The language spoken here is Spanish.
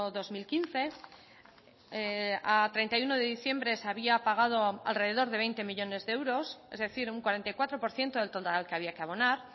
dos mil quince a treinta y uno de diciembre se había pagado alrededor de veinte millónes de euros es decir un cuarenta y cuatro por ciento del total que había que abonar